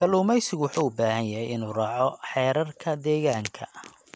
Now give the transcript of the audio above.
Kalluumeysigu wuxuu u baahan yahay inuu raaco xeerarka deegaanka.